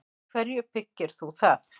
Á hverju byggir þú það?